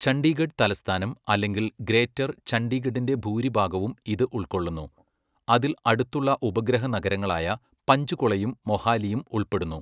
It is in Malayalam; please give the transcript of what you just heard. ചണ്ഡീഗഡ് തലസ്ഥാന അല്ലെങ്കിൽ ഗ്രേറ്റർ ചണ്ഡീഗഢിന്റെ ഭൂരിഭാഗവും ഇത് ഉൾക്കൊള്ളുന്നു, അതിൽ അടുത്തുള്ള ഉപഗ്രഹ നഗരങ്ങളായ പഞ്ച്കുളയും മൊഹാലിയും ഉൾപ്പെടുന്നു.